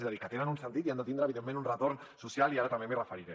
és a dir que tenen un sentit i han de tindre evidentment un retorn social i ara també m’hi referiré